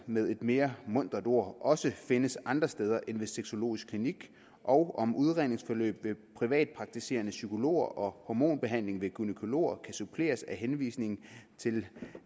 med et mere mundret ord brystfjernelser også findes andre steder end ved sexologisk klinik og om udredningsforløbet ved privatpraktiserende psykologer og hormonbehandling ved gynækologer kan suppleres af henvisning til